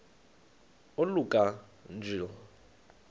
oluka ka njl